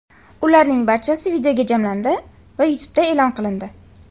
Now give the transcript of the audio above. Ularning barchasi videoga jamlandi va YouTube’da e’lon qilindi.